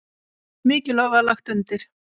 Mikið er lagt undir.